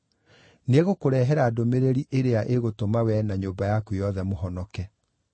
Nĩegũkũrehera ndũmĩrĩri ĩrĩa ĩgũtũma wee na nyũmba yaku yothe mũhonoke.’